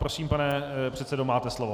Prosím, pane předsedo, máte slovo.